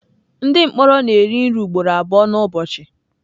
Ndị mkpọrọ na-eri nri ugboro abụọ n'ụbọchị.